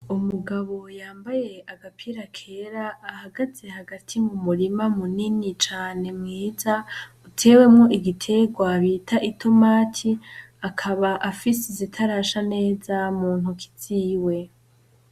Umugabo yambaye agapira kera ahagaze hagati mumurima munini cane mwiza utewemwo igiterwa bita itomati, akaba afise izitarasha neza muntoki ziwe